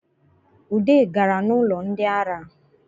Ude gaa n’ụlọ ndị ara